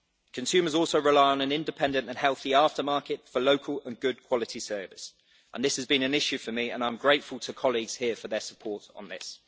Consumers also rely on an independent and healthy aftermarket for local and good quality service, and this has been an issue for me and I am grateful to colleagues here for their support on this.